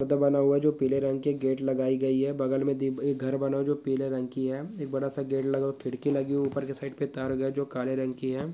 घर बना हुआ जो पीले रंग की गेट लगाई गयी है | बगल में दिप-घर बना हुआ है जो पीले रंग की है एक बड़ा सा गेट लगा खिड़की लगी हुई ऊपर के साइड पर तार गया जो काले रंग की है।